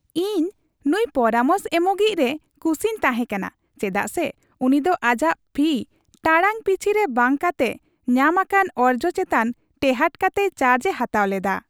ᱤᱧ ᱱᱩᱭ ᱯᱚᱨᱟᱢᱚᱥ ᱮᱢᱚᱜᱤᱡᱽ ᱨᱮ ᱠᱩᱥᱤᱧ ᱛᱟᱦᱮᱸ ᱠᱟᱱᱟ ᱪᱮᱫᱟᱜ ᱥᱮ ᱩᱱᱤ ᱫᱚ ᱟᱡᱟᱜ ᱯᱷᱤ ᱴᱟᱲᱟᱝ ᱯᱤᱪᱷᱤ ᱨᱮ ᱵᱟᱝ ᱠᱟᱛᱮᱜ ᱧᱟᱢ ᱟᱠᱟᱱ ᱚᱨᱡᱚ ᱪᱮᱛᱟᱱ ᱴᱮᱦᱟᱴ ᱠᱟᱛᱮᱭ ᱪᱟᱨᱡᱽᱼᱮ ᱦᱟᱛᱟᱣ ᱞᱮᱫᱟ ᱾